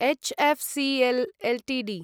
HFCL Ltd